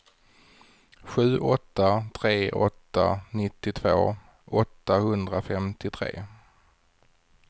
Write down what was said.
sju åtta tre åtta nittiotvå åttahundrafemtiotre